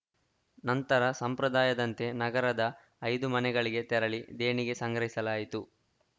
ನಂತರ ಸಂಪ್ರದಾಯದಂತೆ ನಗರದ ಐದು ಮನೆಗಳಿಗೆ ತೆರಳಿ ದೇಣಿಗೆ ಸಂಗ್ರಹಿಸಲಾಯಿತು